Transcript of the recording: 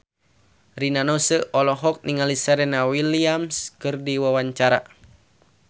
Rina Nose olohok ningali Serena Williams keur diwawancara